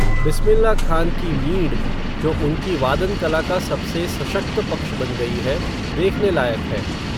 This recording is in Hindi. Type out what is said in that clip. बिस्मिल्ला खान की मींड़, जो उनकी वादन कला का सबसे सशक्त पक्ष बन गई है, देखने लायक है